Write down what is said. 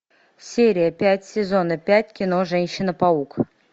серия пять сезона пять кино женщина паук